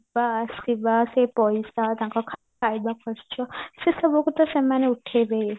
ଯିବା ଆସିବା ସେ ପଇସା ତାଙ୍କ ଖାଇବା ଖର୍ଚ ସେସବୁକୁ ତ ସେମାନେ ଉଠେଇବେ ହି